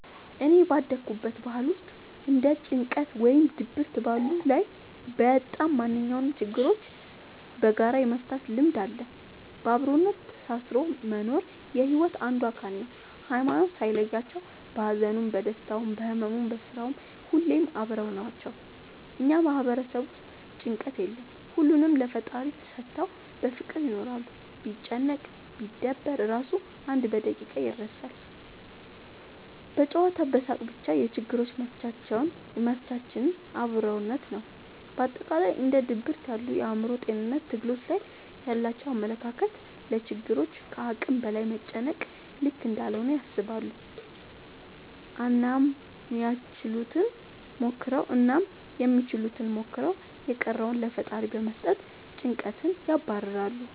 እኔ ባደኩበት ባህል ውስጥ እንደ ጭንቀት ወይም ድብርት ያሉ ላይ ወይም ማንኛውም ችግሮችን በጋራ የመፍታት ልምድ አለ። በአብሮነት ተሳስሮ መኖር የሒወት አንዱ አካል ነው። ሀይማኖት ሳይለያቸው በሀዘኑም በደስታውም በህመሙም በስራውም ሁሌም አብረው ናቸው። እኛ ማህበረሰብ ውስጥ ጭንቀት የለም ሁሉንም ለፈጣሪ ሰተው በፍቅር ይኖራሉ። ቢጨነቅ ቢደበር እራሱ አንድ በደቂቃ ይረሳል በጨዋታ በሳቅ በቻ የችግሮች መፍቻችን አብሮነት ነው። በአጠቃላይ እንደ ድብርት ያሉ የአእምሮ ጤንነት ትግሎች ላይ ያላቸው አመለካከት ለችግሮች ከአቅም በላይ መጨነቅ ልክ እንዳልሆነ ያስባሉ አናም ያችሉትን ሞክረው የቀረውን ለፈጣሪ በመስጠት ጨንቀትን ያባርራሉ።